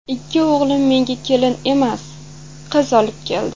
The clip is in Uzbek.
Ikki o‘g‘lim menga kelin emas, qiz olib keldi.